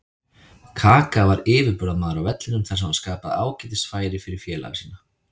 Kaka var yfirburðamaður á vellinum þar sem hann skapaði ágætis færi fyrir félaga sína.